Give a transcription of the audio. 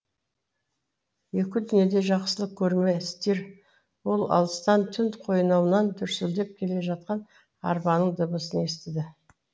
екі дүниеде жақсылық көрме стир ол алыстан түн қойнауынан дүрсілдеп келе жатқан арбаның дыбысын естіді